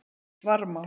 Varmá